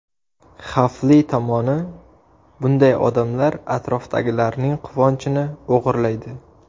Xavfli tomoni: Bunday odamlar atrofdagilarning quvonchini o‘g‘irlaydi.